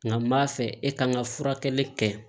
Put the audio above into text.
Nka m'a fɛ e ka kan ka furakɛli kɛ